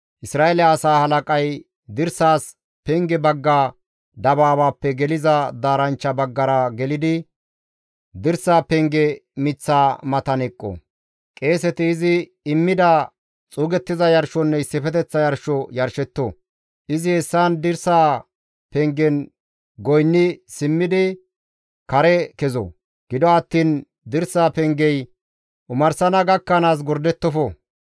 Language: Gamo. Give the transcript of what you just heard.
Isra7eele asaa halaqay dirsas penge bagga dabaabaappe geliza daaranchcha baggara gelidi, dirsa penge miththa matan eqqo. Qeeseti izi immida xuugettiza yarshonne issifeteththa yarsho yarshetto. Izi hessan dirsa pengen goynni simmidi kare kezo. Gido attiin dirsa pengey omarsana gakkanaas gordettofo.